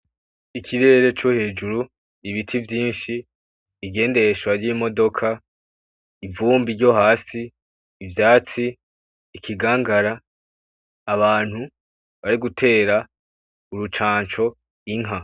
Ikirere co hejuru, ibiti vyinshi, ibigendeshwa vy'imodoka, ivumbi ryo hasi, ivyatsi, ikigangara, abantu bari gutera urucanco inka.